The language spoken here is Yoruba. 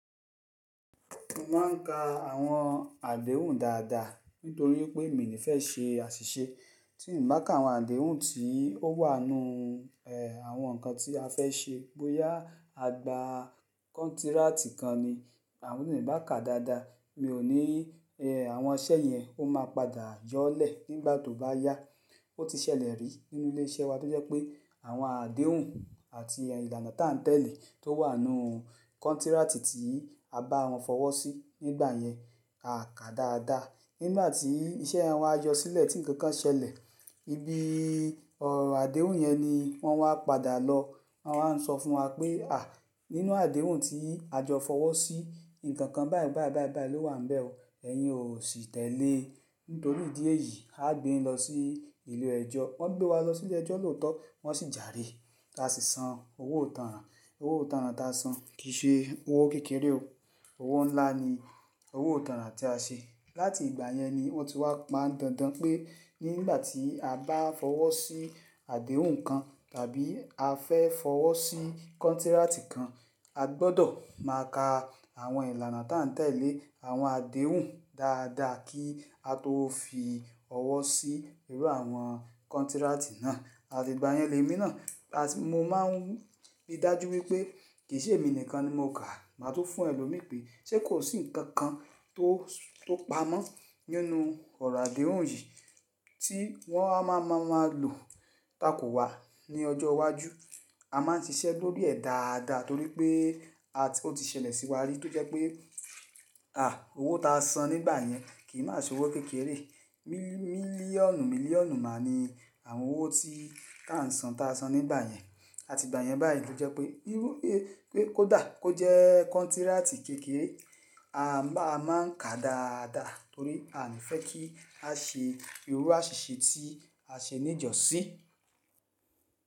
Mó máa ń ka àwọn àdéhùn dáadáa nítorí pé èmi ni fẹ́ ṣe àṣìṣe. Tí n bá ka àwọn àdéhùn tí ó wà nínú, e, àwọn nǹkan tí a fẹ́ ṣe, bóyá a gbá kóntrátí kàn ní, àwọn tí n bá ka dáadáa mi ò ní, e, àwọn iṣẹ́ yẹn ó máa padà yọlẹ̀ nígbà tó bá yá. Ó ti ṣẹlẹ̀ rí nínú ilé-iṣẹ́ wa tó jẹ́ pé àwọn àdéhùn àti ìlànà tá ń tẹ̀lé tó wà nínú kóntrátí tí a bá wọn fọwọ́ sí nígbà yẹn, a kà dáadáa. Nígbà tí iṣẹ́ ẹ wọn á jọ sílẹ̀ tí ǹkan kan ṣẹlẹ̀, ibí ọ̀rọ̀ àdéhùn yẹn ni wọ́n máa ń padà lọ. Wọ́n máa ń sọ fún wa pé, "à, nínú àdéhùn tí a jọ fọwọ́ sí, ǹkan kan báyìí báyìí báyìí báyìí ló wà níbẹ̀ o, ẹ̀yin ò sí tẹ̀lé." Nítorí ìdí èyí, a gbé wọn lọ sí ilé ẹjọ́. Wọ́n gbé wa lọ sí ilé ẹjọ́ lóòótọ́, wọ́n sì jàre. A sì sàn owó ìtànràn. Owó ìtànràn tá sàn kì í ṣe owó kékeré o. Owó ńlá ní owó ìtànràn tí a sàn. Láti ìgbà yẹn ni wọ́n ti wá pá dàndàn pé nígbà tí a bá fọwọ́ sí àdéhùn kàn tàbí a fẹ́ fọwọ́ sí kóntrátí kàn, a gbọdọ̀ máa ka àwọn ìlànà tá ń tẹ̀lé àwọn àdéhùn dáadáa kí á tó fi ọwọ́ sí irú àwọn kóntrátí náà. Àti ìgbà yẹn lé mi náà, mó máa ń rí i dájú wípé kì í ṣe èmi nìkan ni mó kà á, màá tún fún ẹlòmíì pé ṣé kò sí ǹkàn kàn tó, tó pamọ́ nínú ọ̀rọ̀ àdéhùn yìí tí wọ́n a máa máa lo takò wà ní ọjọ́ iwájú. A máa ń ṣiṣẹ́ lórí ẹ̀ dáadáa torí pé a ti-- ó ti ṣẹlẹ̀ sí wa rí tó jẹ́ pé, à, owó tá sàn nígbà yẹn kì í má ṣe owó kékeré. Milí-mílíọ̀nù mílíọ̀nù máa ni àwọn owó tí tá ń sàn tá a sàn nígbà yẹn. Àti ìgbà yẹn báyìí ló jẹ́ pé bírú pé kó dà, kó jẹ́ kóntrátí kékeré, a máa ń ka dáadáa torí a kò fẹ́ kí a ṣe irú àṣìṣe tí a ṣe níjọ̀sí.